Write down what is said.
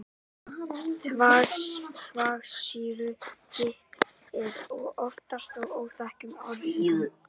þvagsýrugigt er oftast af óþekktum orsökum